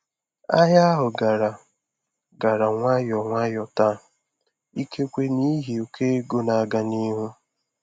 Ahịa ahụ gara gara nwayọ nwayọ taa, ikekwe n'ihi ụkọ ego na-aga n'ihu.